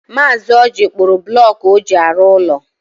Mazi Ọji kpụrụ bụlọku ọ ji arụ ụlọ.